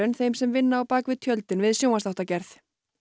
þeim sem vinna á bak við tjöldin við sjónvarpsþáttagerð